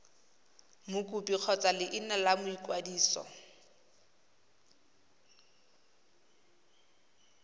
mokopi kgotsa leina la boikwadiso